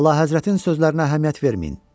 Əlahəzrətin sözlərinə əhəmiyyət verməyin.